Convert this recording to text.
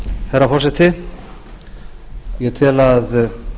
herra forseti ég tel að